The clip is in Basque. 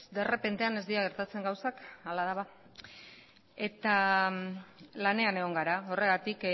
derrepentean ez dira gertatzen gauzak hala da ba eta lanean egon gara horregatik